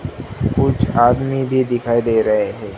कुछ आदमी भी दिखाई दे रहे हैं।